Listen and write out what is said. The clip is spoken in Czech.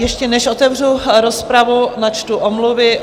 Ještě než otevřu rozpravu, načtu omluvy.